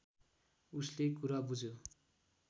उसले कुरा बुझ्यो